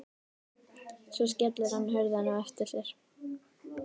Svo skellir hann hurðinni á eftir sér.